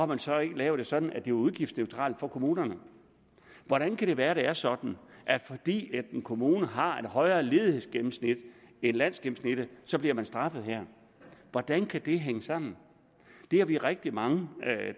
man så ikke lavet det sådan at det er udgiftsneutralt for kommunerne hvordan kan det være at det er sådan at fordi en kommune har et højere ledighedsgennemsnit end landsgennemsnittet så bliver den straffet her hvordan kan det hænge sammen det er vi rigtig mange